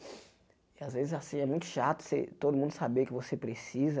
e às vezes, assim, é muito chato ser todo mundo saber que você precisa.